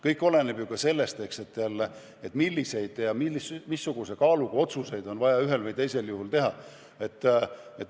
Kõik oleneb ju ka sellest, missuguse kaaluga otsuseid on vaja ühel või teisel juhul teha.